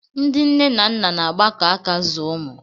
Ndị nne na nna na-agbakọ aka zụọ ụmụ